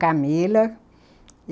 Camila.